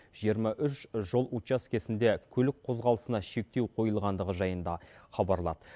жиырма үш жол учаскесінде көлік қозғалысына шектеу қойылғандығы жайында хабарлады